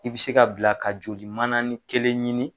I bɛ se ka bila ka joli mana ni kelen ɲini.